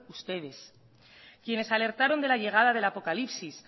ustedes quienes alertaron de la llegada del apocalipsis